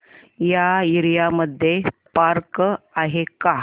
या एरिया मध्ये पार्क आहे का